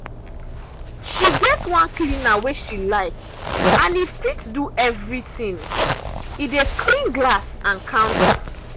she get one cleaner wey she like and e fit do everything—e dey clean glass and counter.